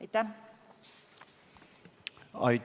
Aitäh!